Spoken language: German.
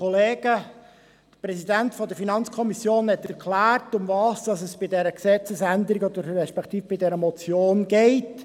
Der Präsident der FiKo hat erklärt, worum es bei dieser Gesetzesänderung, respektive bei dieser Motion geht.